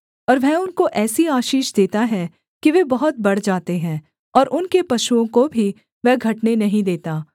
और वह उनको ऐसी आशीष देता है कि वे बहुत बढ़ जाते हैं और उनके पशुओं को भी वह घटने नहीं देता